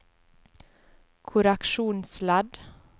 korreksjonsledd